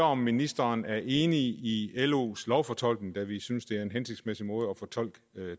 om ministeren er enig i los lovfortolkning da vi synes det er en hensigtsmæssig måde at fortolke